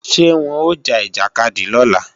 Ṣé wọn ó ja ìjàkadì lọ́la?